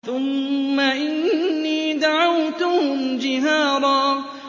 ثُمَّ إِنِّي دَعَوْتُهُمْ جِهَارًا